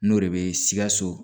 N'o de bɛ sikaso